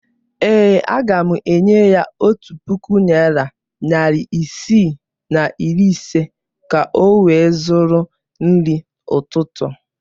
Ee, aga m enye ya otu puku naịra, narị isii na iri ise ka ọ wee zụrụ nri ụtụtụ.